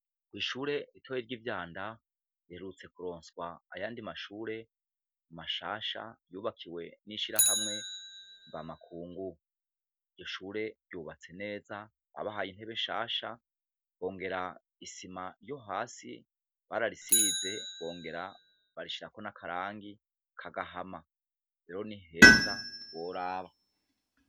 Ishure ritoya ry'ivyanda riherutse kuronswa ayandi mashure mashasha yubakiwe n'ishirahamwe mvamakungu. Iryoshure ryubatse neza babahaye intebe nshasha; bongera isima yohasi barayisize bongera barishirako n'akarangi k'agahama. Rero niheza ntiworaba.